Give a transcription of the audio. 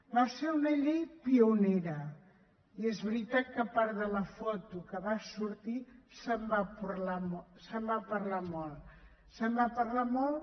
va ser una llei pionera i és veritat que a part de la foto que va sortir se’n va parlar molt se’n va parlar molt